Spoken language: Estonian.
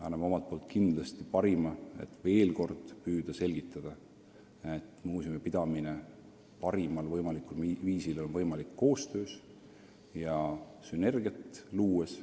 Anname omalt poolt kindlasti parima, et veel kord püüda selgitada: muuseumi pidamine parimal võimalikul viisil on võimalik koostöös ja sünergiat luues.